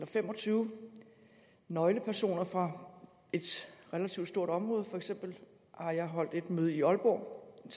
fem og tyve nøglepersoner fra et relativt stort område for eksempel har jeg holdt et møde i aalborg og